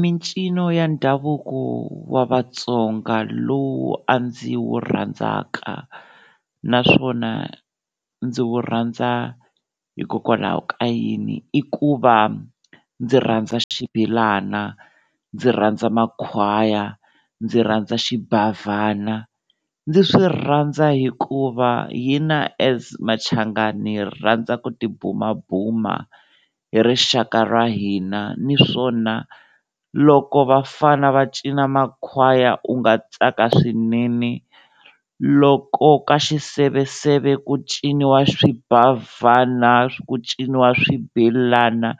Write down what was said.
Mincino ya ndhavuko wa Vatsonga lowu a ndzi wu rhandzaka naswona ndzi wu rhandza hikokwalaho ka yini i ku va ndzi rhandza xibelana, ndzi rhandza makhwaya, ndzi rhandza xibavhana, ndzi swi rhandza hikuva hina as Machangani ni rhandza ku tibumabuma hi rixaka ra hina, niswona loko vafana va cina makhwaya u nga tsaka swinene loko ka xiseveseve ku ciniwa swibavhana ku ciniwa swibelana